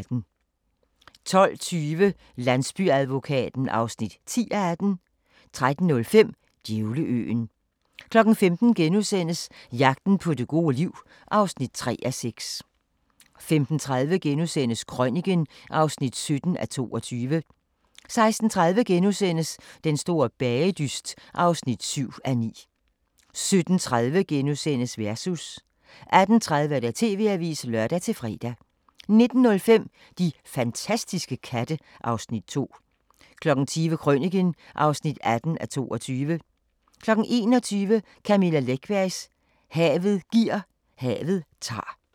12:20: Landsbyadvokaten (10:18) 13:05: Djævleøen 15:00: Jagten på det gode liv (3:6)* 15:30: Krøniken (17:22)* 16:30: Den store bagedyst (7:9)* 17:30: Versus * 18:30: TV-avisen (lør-fre) 19:05: De fantastiske katte (Afs. 2) 20:00: Krøniken (18:22) 21:00: Camilla Läckberg: Havet giver, havet tager